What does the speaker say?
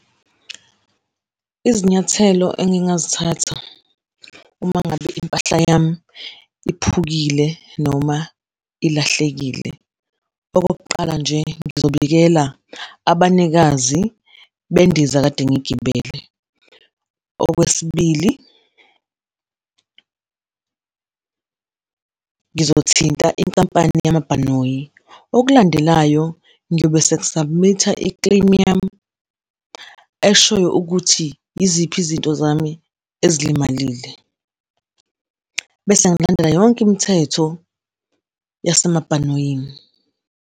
Izinyathelo engingazithatha uma ngabe impahla yami iphukile noma ilahlekile, okokuqala nje, ngizobikela abanikazi bendiza ekade ngiyigibele. Okwesibili, ngizothinta inkampani yamabhanoyi. Okulandelayo, ngiyobe sengi-submit-a i-claim yami, eshoyo ukuthi yiziphi izinto zami ezilimalile, bese ngilandela yonke imithetho yasemabhanoyini.